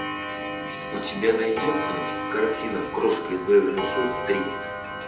у тебя найдется картина крошка из беверли хиллз три